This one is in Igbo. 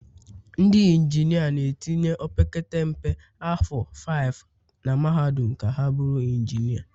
ndị injinia na-etinye opekata mpe afọ 5 na mahadum ka ha bụrụ injinia